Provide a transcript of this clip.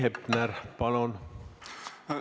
Heiki Hepner, palun!